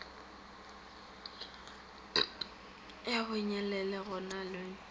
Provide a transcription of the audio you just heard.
ya bonyelele go na le